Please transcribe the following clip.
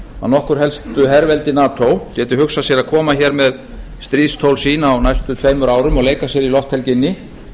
að nokkur helstu herveldi nato geti hugsað sér að koma hér með stríðstól sín á næstu tveimur árum og leika sér í lofthelginni